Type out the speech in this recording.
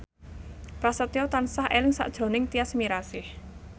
Prasetyo tansah eling sakjroning Tyas Mirasih